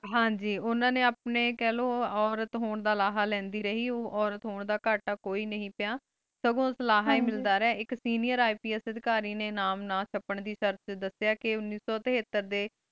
ਹਾਂਜੀ ਓਹਨਾ ਨੂ ਆਪਣਾ ਔਰਤ ਹੋਣ ਦਾ ਲੇੰਡਿ ਰਹੀ ਔਰਤ ਹੋਣ ਦਾ ਕਟਾ ਕੋਈ ਨਹੀ ਪਿਯ ਸਗੋ ਓਸ ਲਾਹਾ ਹੇ ਮਿਲਦਾ ਰਿਯ ਆਇਕ seniorIPS ਅਦਕਾਰੀ ਨੀ ਨਾਮ ਨਾ ਛਾਪਣ ਦੇ ਸ਼ਰਤ ਵਚ ਦਸ੍ਯ ਕੀ ਉਨਿਸੋ ਤਿਹਾਤਾਰ ਦੇ